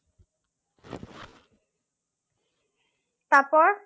তারপর